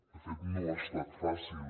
de fet no ha estat fàcil